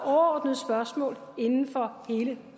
overordnede spørgsmål inden for hele